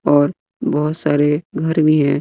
और बहोत सारे घर भी है।